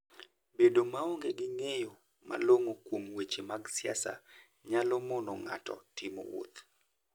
Bedo maonge gi ng'eyo malong'o kuom weche mag siasa nyalo mono ng'ato timo wuoth.